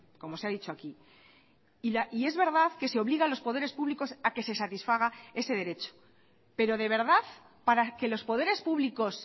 como se ha dicho aquí y es verdad que se obliga a los poderes públicos a que se satisfaga ese derecho pero de verdad para que los poderes públicos